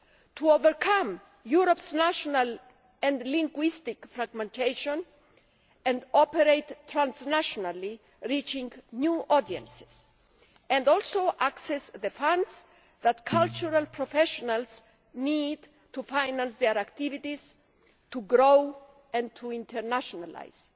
to overcome Europe's national and linguistic fragmentation and operate transnationally, reaching new audiences and also access the funds that cultural professionals need to finance their activities in order to grow and to internationalise.